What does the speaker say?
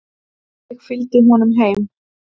Ég fylgdi honum heim.